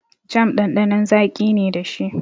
Jam ɗanɗanon zaƙi ne dashi.